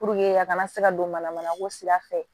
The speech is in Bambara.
a kana se ka don mana ko sira fɛ